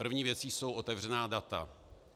První věcí jsou otevřená data.